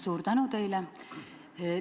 Suur tänu teile!